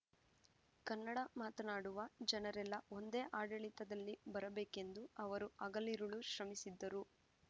ಕನ್ನಡ ಮಾತನಾಡುವ ಜನರೆಲ್ಲ ಒಂದೇ ಆಡಳಿತದಲ್ಲಿ ಬರಬೇಕೆಂದು ಅವರು ಹಗಲಿರುಳು ಶ್ರಮಿಸಿದ್ದರು